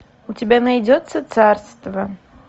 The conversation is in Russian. у тебя найдется царство